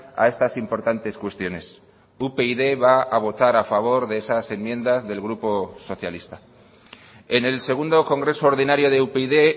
a estas importantes cuestiones upyd va a votar a favor de esas enmiendas del grupo socialista en el segundo congreso ordinario de upyd